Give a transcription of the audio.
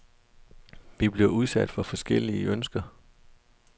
Vi bliver udsat for forskellige ønsker.